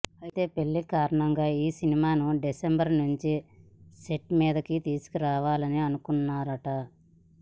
అయితే పెళ్లి కారణంగా ఈ సినిమాను డిసెంబర్ నుంచి సెట్ మీదకు తీసుకెళ్లాలని అనుకుంటున్నాడట